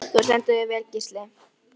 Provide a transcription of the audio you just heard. Það var nafnlaust og tjargað svart.